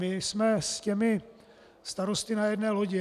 My jsme s těmi starosty na jedné lodi.